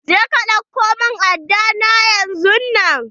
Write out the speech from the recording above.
Je ka ɗauko min aɗɗa na yanzun nan.